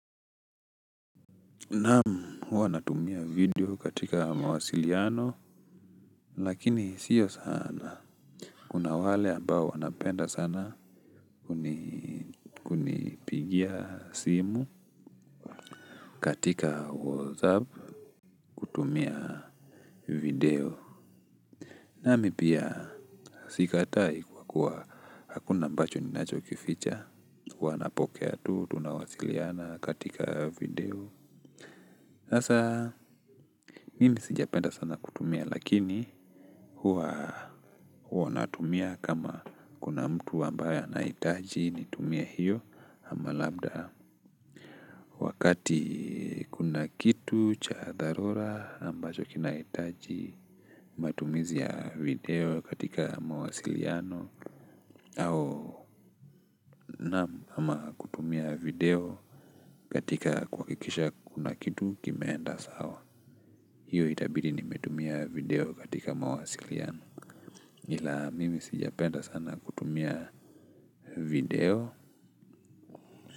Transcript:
Naam huwa natumia video katika mawasiliano lakini sio sana kuna wale ambao wanapenda sana kunipigia simu katika whatsapp kutumia video. Nami pia sikatai kwa kuwa hakuna ambacho ninacho kificha huwa napokea tu tunawasiliana katika video. Asa mimi sijapenda sana kutumia lakini huwa huwa natumia kama kuna mtu ambaye anahitaji nitumie hiyo ama labda wakati kuna kitu cha dharura ambacho kinaitaji matumizi ya video katika mawasiliano au na ama kutumia video katika kuhakikisha kuna kitu kimeenda sawa. Hiyo itabidi nimetumia video katika mawasiliano. Hila mimi sijapenda sana kutumia video.